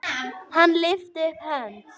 Hann lyfti upp hönd.